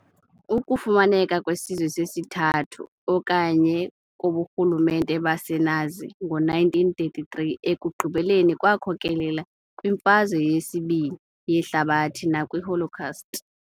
Ukufumaneka kwesiZwe sesiThathu okanye koburhulumente baseNazi ngo-1933 ekugqibeleni kwakhokelela kwiMfazwe yesi-2 yeHlabathi nakwi"Holocaust".